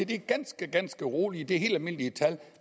det er ganske ganske roligt det helt almindelige tal